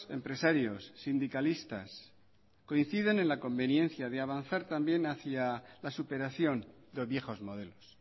empresarios sindicalistas coinciden en la conveniencia de avanzar también hacia la superación de viejos modelos